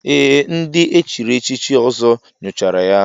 Ee, ndị echiri echichi Ọzọ nyochara ya.